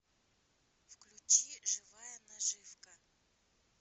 включи живая наживка